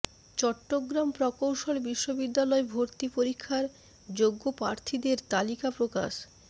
চট্টগ্রাম প্রকৌশল বিশ্ববিদ্যালয় ভর্তি পরীক্ষার যোগ্য প্রার্থীদের তালিকা প্রকাশ